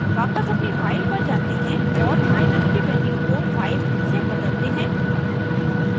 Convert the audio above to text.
वापस अपनी फाइल पर जाते हैं और my_num की वैल्यू को 5 से बदलते हैं